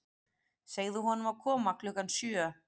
Segðu honum að koma klukkan sjö.